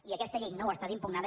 i aquesta llei no ho està d’impugnada